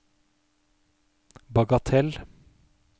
bagatell